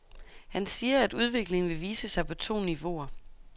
Han siger, at udviklingen vil vise sig på to niveauer.